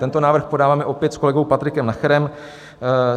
Tento návrh podáváme opět s kolegou Patrikem Nacherem.